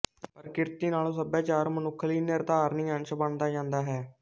ਪ੍ਰਕਿਰਤੀ ਨਾਲੋਂ ਸਭਿਆਚਾਰ ਮਨੁੱਖ ਲਈ ਨਿਰਧਾਰਣੀ ਅੰਸ਼ ਬਣਦਾ ਜਾਂਦਾ ਹੈ